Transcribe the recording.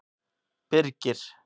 Birgir